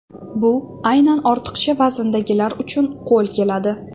Bu aynan ortiqcha vazndagilar uchun qo‘l keladi.